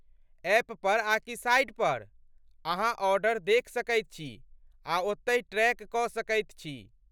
ऐपपर आकि साइट पर अहाँ ऑर्डर देखि सकैत छी आ ओत्तहि ट्रैक कऽ सकैत छी।